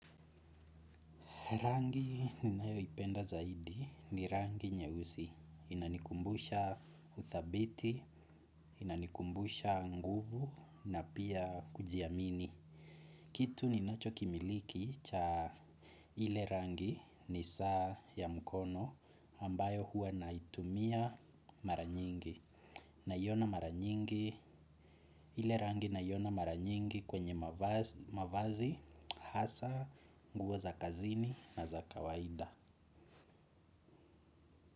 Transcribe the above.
Rangi ninayo ipenda zaidi ni rangi nyeusi, inanikumbusha uthabiti, inanikumbusha nguvu na pia kujiamini. Kitu ninacho kimiliki cha ile rangi ni saa ya mkono ambayo huwa naitumia mara nyingi. Naiona maranyingi, ile rangi naiona maranyingi kwenye mavazi, hasa, nguo za kazini na za kawaida.